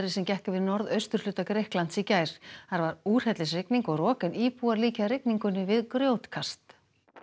sem gekk yfir norðausturhluta Grikklands í gær þar var úrhellisrigning og rok en íbúar líkja rigningunni við grjótkast